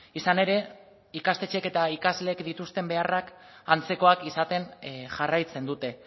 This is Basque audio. izan ere ikastetxeek eta ikasleek dituzten beharrak antzekoak izaten jarraitzen dute